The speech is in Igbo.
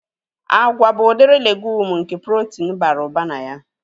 Agwa bụ udiri legumu nke protin bara ụba na ya